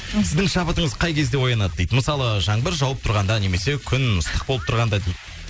сіздің шабытыңыз қай кезде оянады дейді мысалы жаңбыр жауып тұрғанда немесе күн ыстық болып тұрғанда дейді